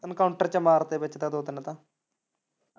encounter ਚ ਮਾਰਤੇ ਵਿੱਚ ਤਾਂ ਦੋ ਤਿੰਨ ਤਾਂ।